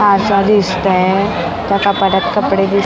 आरसा दिसतोय त्या कपाटात कपडे दिस --